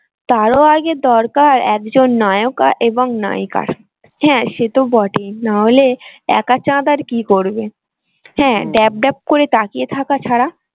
তারও আগে দরকার একজন নায়ক এবং নায়িকার। হ্যাঁ সে তো বটেই না হলে াক চাঁদ আর কি করবে? করে তাকিয়ে থাকা ছাড়া।